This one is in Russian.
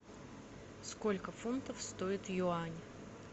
сколько фунтов стоит юань